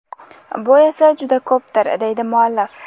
Bu esa juda ko‘pdir, deydi muallif.